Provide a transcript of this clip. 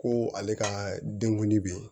Ko ale ka denkundi bɛ yen